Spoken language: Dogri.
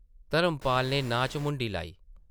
धर्मपाल नै नांह् च मुंडी ल्हाई ।